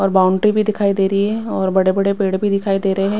और बाउंड्री भी दिखाई दे रही है और बड़े-बड़े पेड़ भी दिखाई दे रहे हैं।